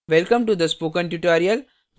welcome to the spoken tutorial